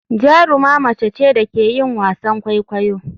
Jaruma mace ce da ke yin wasan kwaikwayo.